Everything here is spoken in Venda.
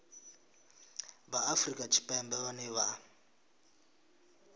vha afrika tshipembe vhane vha